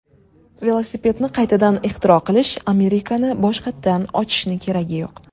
Velosipedni qaytadan ixtiro qilish, Amerikani boshqatdan ochishni keragi yo‘q.